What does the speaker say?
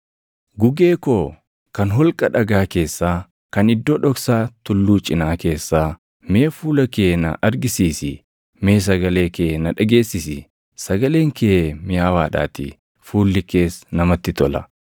Gugee koo kan holqa dhagaa keessaa, kan iddoo dhoksaa tulluu cinaa keessaa, mee fuula kee na argisiisi; mee sagalee kee na dhageessisi; sagaleen kee miʼaawaadhaatii; fuulli kees namatti tola.